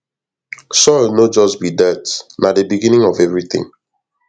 soil no just be dirt na the beginning of everything